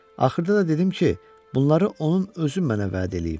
Axırda da dedim ki, bunları onun özü mənə vəd eləyib.